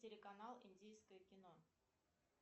телеканал индийское кино